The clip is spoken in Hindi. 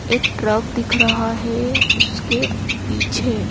एक ट्रक दिख रहा है उसके पीछे--